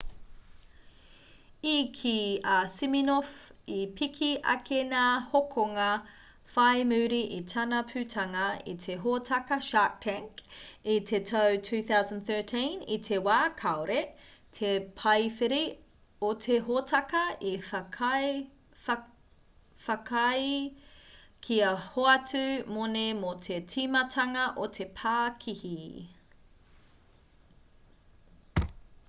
i kī a siminoff i piki ake ngā hokonga whai muri i tana putanga i te hōtaka shark tank i te tau 2013 i te wā kāore te paewhiri o te hōtaka i whakaae kia hoatu moni mō te timatanga o te pākihi